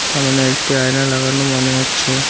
সামনে একটি আয়না লাগানো মনে হচ্ছে।